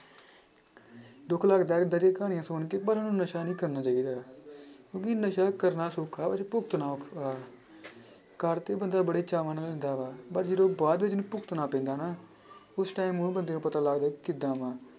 ਦੁੱਖ ਲੱਗਦਾ ਏਦਾਂ ਦੀਆਂ ਕਹਾਣੀਆਂਂ ਸੁਣ ਕੇ ਪਰ ਉਹਨੂੰ ਨਸ਼ਾ ਨੀ ਕਰਨਾ ਚਾਹੀਦਾ ਕਿਉਂਕਿ ਨਸ਼ਾ ਕਰਨਾ ਸੌਖਾ ਪਰ ਭੁਗਤਣਾ ਔਖਾ ਕਰ ਤੇ ਬੰਦਾ ਬੜੇ ਚਾਵਾਂ ਨਾਲ ਲੈਂਦਾ ਵਾ ਪਰ ਜਦੋਂ ਬਾਅਦ ਵਿੱਚ ਉਹਨੂੰ ਭੁਗਤਣਾ ਪੈਂਦਾ ਨਾ ਉਸ time ਉਹ ਬੰਦੇ ਨੂੰ ਪਤਾ ਲੱਗਦਾ ਕਿੱਦਾਂ ਵਾਂ।